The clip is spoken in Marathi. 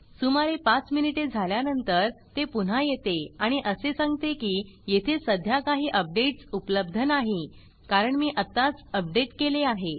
सुमारे पाच मिनिटे झाल्यानंतर ते पुन्हा येते आणि असे सांगते की येथे सध्या काही अपडेट्स उपलब्ध नाही कारण मी आत्ताच अपडेट केले आहे